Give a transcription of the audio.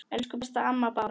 Elsku besta amma Bára.